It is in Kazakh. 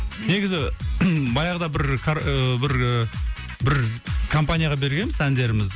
негізі баяғыда бір ііі бір бір компанияға бергеміз әндерімізді